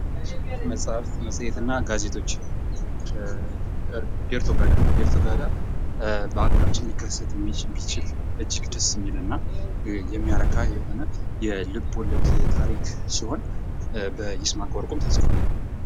መጻሕፍት መጽሄትና ጋዜጦች ዴርቶ ጋዳ በ ሀገራችን ሊሚከሰት ሚችል እጅግ ደስ የሚል እና የሚያረካ የሆነ የልቦለድ ታሪክ ሲሆን፤ በይስማከ ወርቁም ተጽፏል።